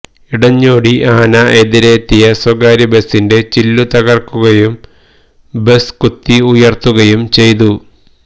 ഇടഞ്ഞോടി ആന എതിരെ എത്തിയ സ്വകാര്യ ബസിന്റെ ചില്ലുതകര്ക്കുകയും ബസ് കുത്തി ഉയര്ത്തുകയും ചെയ്തു